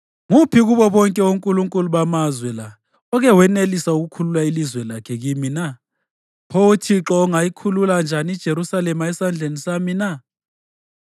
Nguphi kubo bonke onkulunkulu bamazwe la oke wenelisa ukukhulula ilizwe lakhe kimi na? Pho uThixo angayikhulula njani iJerusalema esandleni sami na?”